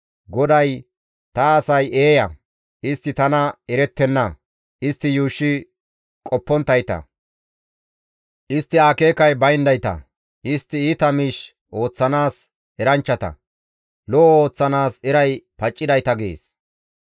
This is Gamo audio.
GODAY, «Ta asay eeya; istti tana erettenna. Istti yuushshi qopponttayta; istti akeekay bayndayta; istti iita miish ooththanaas eranchchata; lo7o ooththanaas eray paccidayta» gees.